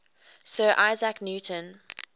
sir isaac newton